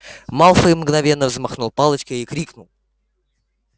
малфой мгновенно взмахнул палочкой и крикнул